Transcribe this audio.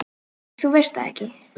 Nei, þú veist það ekki.